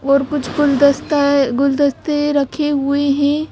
और कुछ गुलदस्ता है गुलदस्ते रखे हुए हैं।